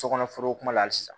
Sokɔnɔ foro kuma la hali sisan